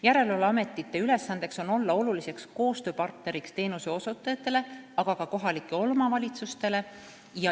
Järelevalveametite ülesanne on olla koostööpartner teenuseosutajatele, aga ka kohalikele omavalitsustele.